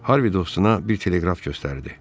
Harvi dostuna bir teleqraf göstərdi.